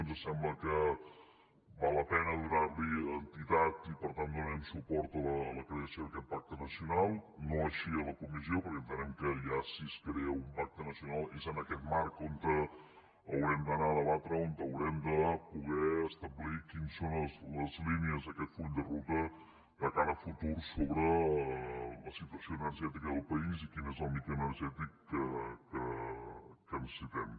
ens sembla que val la pena donarhi entitat i per tant donarem suport a la creació d’aquest pacte nacional no així a la comissió perquè entenem que ja si es crea un pacte nacional és en aquest marc on haurem d’anar a debatre o haurem de poder establir quines són les línies d’aquest full de ruta de cara al futur sobre la situació energètica del país i quin és el mix energètic que necessitem